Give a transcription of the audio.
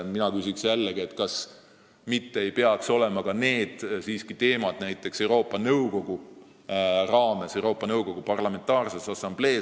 Mina küsiks, kas need teemad ei peaks mitte olema arutusel ka Euroopa Nõukogu Parlamentaarses Assamblees.